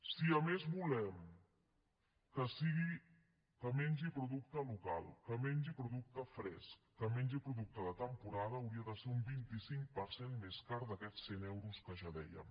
si a més volem que mengi producte local que mengi producte fresc que mengi producte de temporada hauria de ser un vint cinc per cent més car d’aquests cent euros que ja dèiem